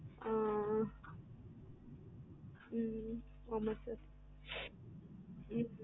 ஆஹ் உம் ஆமா sir